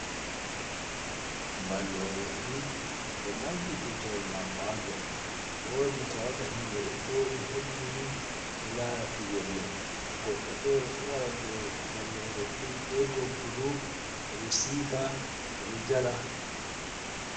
Ballo refiri ɗo ɓamti tuta’el mako. Wodi ta waga himɓe ɗo jooɗi hebbini ɗo lara pijirle. Goɗɗo fere ɗo wara do ballo refiri be doggudu, o ɗo sika, o ɗo jala.